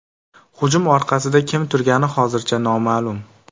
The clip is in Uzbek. Hujum orqasida kim turgani hozircha noma’lum.